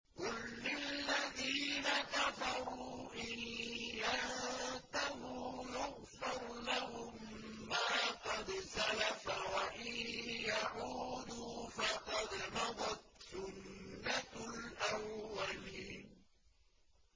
قُل لِّلَّذِينَ كَفَرُوا إِن يَنتَهُوا يُغْفَرْ لَهُم مَّا قَدْ سَلَفَ وَإِن يَعُودُوا فَقَدْ مَضَتْ سُنَّتُ الْأَوَّلِينَ